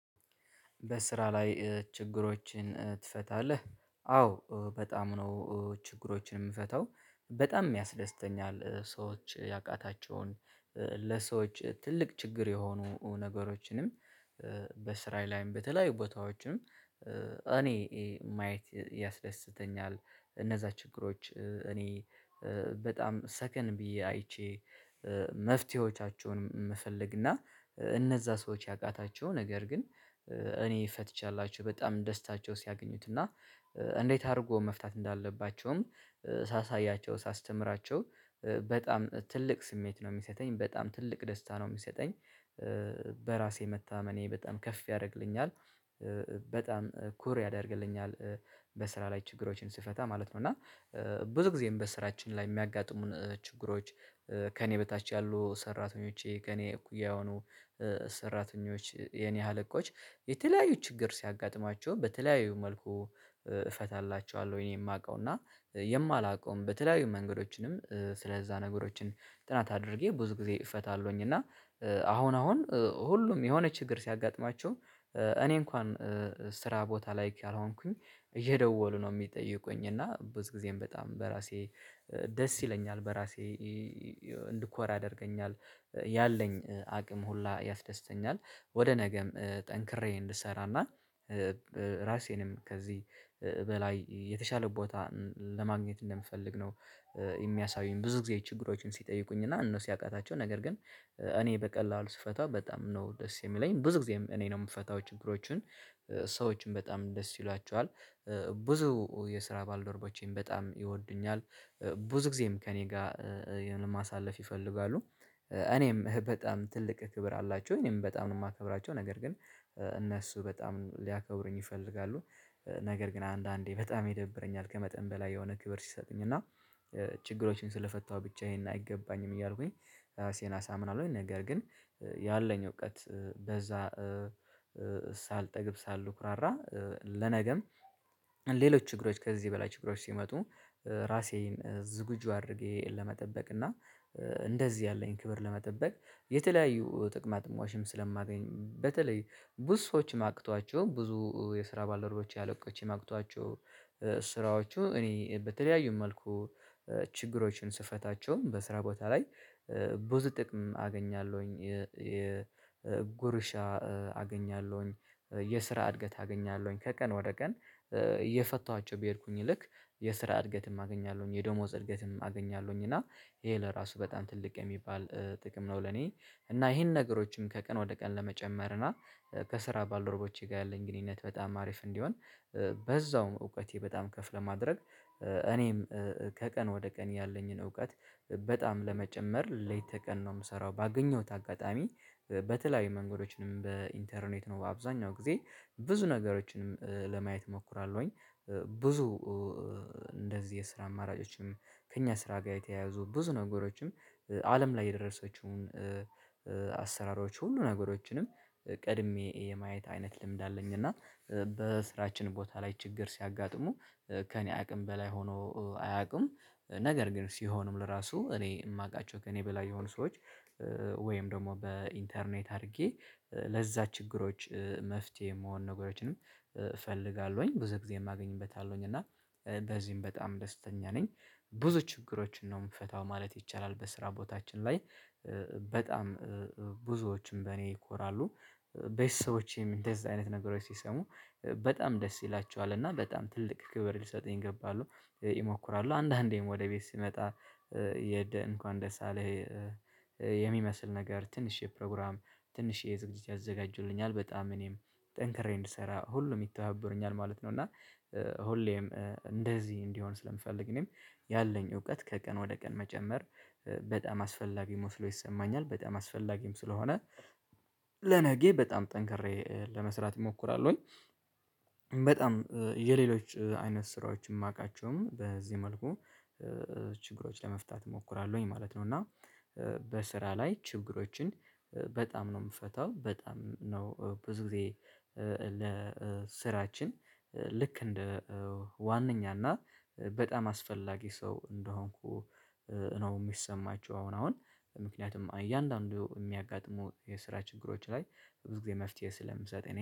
በስራ ላይ ችግሮችን ትፈታለህ? አዎ በጣም ነው ችግሮችን የምፈታው በጣም የሚያስደስተኛል። ሰዎች ያቃታቸውን ለሰዎች ትልቅ ችግር የሆኑ ነገሮችንም በስራዬ ላይም በተለያዩ ቦታዎችም እኔ ማየት ያስደስተኛል። እነዛ ችግሮች እኔ በጣም ሰከን ብዬ አይቼ መፍትሄዎቻቸውን መፈለግ እና እነዛ ሰዎች ያቃታቸው ነገር ግን እኔ ፈትቼላችሁ በጣም ደስታቸው ሲያገኙት እና እንዴት አድርጎ መፍታት እንዳለባቸውም ሳሳያቸው ሳስተምራቸው በጣም ትልቅ ስሜት ነው የሚሰጠኝ በጣም ትልቅ ደስታ ነው የሚሰጠኝ። በራሴ መታመኔ በጣም ከፍ ያደርግልኛል በጣም ኩር ያደርግልኛል። በስራ ላይ ችግሮችን ስፈታ ማለት ነው። እና ብዙ ጊዜም በስራችን ላይ የሚያጋጥሙን ችግሮች ከእኔ በታች ያሉ ሰራተኞቼ ከእኔ እኩያ የሆኑ ሰራተኞች የኔ ሀለቆች የተለያዩ ችግር ሲያጋጥማቸው በተለያዩ መልኩ እፈታላቸዋለሁ የማውቀው እና የማላውቀውም በተለያዩ መንገዶችንም ስለዛ ነገሮችን ጥናት አድርጌ ብዙ ጊዜ እፈታለሁኝ። እና አሁን አሁን ሁሉም የሆነ ችግር ሲያጋጥማቸው እኔ እንኳን ስራ ቦታ ላይ ካል ሆንኩኝ እየደወሉ ነው የሚጠይቁኝ እና ብዙ ጊዜም በጣም በራሴ ደስ ይለኛል በራሴ እንድኮራ ያደርገኛል። ያለኝ አቅም ሁላ ያስደስተኛል ወደ ነገም ጠንክሬ እንድሰራና ራሴንም ከዚህ በላይ የተሻለ ቦታ ለማግኘት እንደምፈልግ ነው። የሚያሳዩኝ ብዙ ጊዜ ችግሮችን ሲጠይቁኝ እና እነሱ ሲያቃታቸው ነገር ግን እኔ በቀላሉ ስፈቷ በጣም ነው ደስ የሚለኝ ብዙ ጊዜ እኔ ነው የምፈታው ችግሮችን ሰዎችን በጣም ደስ ይሏቸዋል። ብዙ የስራ ባልደርቦቼን በጣም ይወዱኛል ብዙ ጊዜም ከእኔ ጋር ይሆነ ማሳለፍ ይፈልጋሉ። እኔም በጣም ትልቅ ክብር አላቸው እኔም በጣም ነው የማከብራቸው ነገር ግን እነሱ በጣም ሊያከብሩኝ ይፈልጋሉ ነገር ግን አንዳንዴ በጣም ይደብረኛል ከመጠን በላይ የሆነ ክብር ሲሰጡኝ እና። ችግሮችን ስለፈታሁ ብቻዬን አይገባኝም እያልኩኝ ራሴን አሳምናለሁኝ ነገር ግን ያለኝ እውቀት በዛ ሳልጠግብ ሳሉ ኩራራ ለነገም ሌሎች ችግሮች ከዚህ በላይ ችግሮች ሲመጡ ራሴን ዝግጁ አድርጌ ለመጠበቅ እና እንደዚህ ያለኝ ክብር ለመጠበቅ። የተለያዩ ጥቅማጥቅምችም ስለማገኝ በተለይ ብዙ ሰዎችም አቅቷቸው ብዙ የስራ ባለደርቦቼ አለቆቼም ኣቅጧቸው ስራዎቹ እኔ በተለያዩ መልኩ ችግሮችን ስፈታቸውም በስራ ቦታ ላይ ብዙ ጥቅም አገኛለሁኝ የጉርሻ አገኛለሁኝ። የስራ እድገት አገኛለሁኝ ከቀን ወደ ቀን እየፈታኋቸው ቢሄድኩኝ ልክ የስራ እድገትም አገኛለሁኝ የዶሞዝ እድገትም አገኛለሁኝ እና ይሄ ለራሱ በጣም ትልቅ የሚባል ጥቅም ነው። ለኔ እና ይሄን ነገሮችን ከቀን ወደ ቀን ለመጨመር እና ከስራ ባልደረቦቼ ጋር ያለኝ ግንኙነት በጣም አሪፍ እንዲሆን በዛውም እውቀቴ በጣም ከፍ ለማድረግ እኔም ከቀን ወደ ቀን ያለኝን እውቀት በጣም ለመጨመር ሌት ተቀን ነው የምሰራው ባገኘሁት አጋጣሚ በተለያዩ መንገዶችንም በኢንተርኔት ነው በአብዛኛው ጊዜ ብዙ ነገሮችንም ለማየት እሞክራለሁኝ። ብዙ እንደዚህ የስራ አማራጮችም ከእኛ ስራ ጋር የተያያዙ ብዙ ነገሮችም አለም ላይ የደረሰችውን አሰራሮች ሁሉ ነገሮችንም ቀድሜ የማየት አይነት ልምድ አለኝ እና በስራችን ቦታ ላይ ችግር ሲያጋጥሙ ከእኔ አቅም በላይ ሆኖ አያውቅም። ነገር ግን ሲሆንም ለራሱ እኔ የማውቃቸው ከእኔ በላይ የሆኑ ሰዎች ወይም ደግሞ በኢንተርኔት አድርጌ ለዛ ችግሮች መፍትሄ የምሆን ነገሮችንም እፈልጋለሁኝ ብዙ ጊዜ ማገኝበታለሁኝ እና በዚህም በጣም ደስተኛ ነኝ። ብዙ ችግሮችን ነው የምፈታው ማለት ይቻላል። በስራ ቦታችን ላይ በጣም ብዙዎችን በእኔ ይኮራሉ ቤተሰቦቼም እንደዛ አይነት ነገሮች ሲሰሙ በጣም ደስ ይላቸዋል እና በጣም ትልቅ ክብር ሊሰጥኝ ይገባሉ ይሞክራሉ አንዳንዴም ወደ ቤት ሲመጣ እንኳን ደሳለህ የሚመስል ነገር ትንሽ የፕሮግራም ትንሽ ዝግጅት ያዘጋጁልኛል በጣም እኔም ጠንክሬ እንድሰራ ሁሉም ይተባበሩኛል ማለት ነው። እና ሁሌም እንደዚህ እንዲሆን ስለምፈልግ እኔም ያለኝ እውቀት ከቀን ወደ ቀን መጨመር በጣም አስፈላጊ መስሎ ይሰማኛል በጣም አስፈላጊም ስለሆነ ለነጌ በጣም ጠንክሬ ለመስራት እሞክራለሁኝ። በጣም የሌሎች አይነት ስራዎች ማቃቸውም በዚህ መልኩ ችግሮች ለመፍታት እሞክራለሁኝ ማለት ነው። እና በስራ ላይ ችግሮችን በጣም ነው ምፈታው በጣም ነው ብዙ ጊዜ ለስራችን ልክ እንደ ዋነኛ እና በጣም አስፈላጊ ሰው እንደሆንኩ ነው የሚሰማቸው አሁን አሁን ምክንያቱም እያንዳንዱ እሚያጋጥሙ የስራ ችግሮች ላይ ብዙ ጊዜ መፍትሄ ስለምሰጠኝ